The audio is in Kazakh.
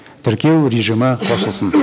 тіркеу режимі қосылсын